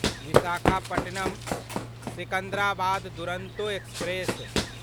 Visakhapatnam Secunderabad Duronto express